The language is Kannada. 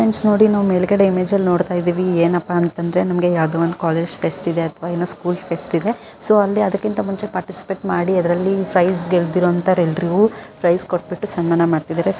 ಫ್ರೆಂಡ್ಸ್ ನೋಡಿ ನಾವು ಮೇಲ್ಗಡೆ ಇಮೇಜ್ ಅಲ್ಲಿ ನೋಡ್ತಾಇದೇವೆ ಏನಪ್ಪಾ ಅಂತಂದ್ರೆ ನಮಗೆ ಯಾವದೋ ಒಂದು ಕಾಲೇಜ ಫೆಸ್ಟ್ ಇದೆ ಅಥವಾ ಏನೋ ಸ್ಕೂಲ್ ಫೆಸ್ಟ್ ಇದೆ ಸೊ ಅಲ್ಲಿ ಅದಕ್ಕಿಂತ ಮುಂಚೆ ಪಾರ್ಟಿಸಿಪೇಟ ಮಾಡಿ ಅದರಲ್ಲಿ ಪ್ರೈಜ್ ಗೆಲ್ತಿರೋಅಂತಹ ಎಲ್ಲರಿಗೂ ಪ್ರೈಜ್ ಕೊಟ್ಟಬಿಟ್ಟು ಸನ್ಮಾನ ಮಾಡ್ತಿದ್ದಾರೆ.